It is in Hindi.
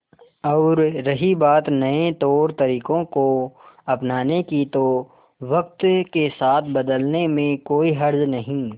और रही बात नए तौरतरीकों को अपनाने की तो वक्त के साथ बदलने में कोई हर्ज नहीं